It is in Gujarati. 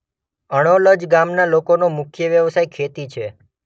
અણોલજ ગામના લોકોનો મુખ્ય વ્યવસાય ખેતી છે.